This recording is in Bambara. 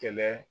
Kɛlɛ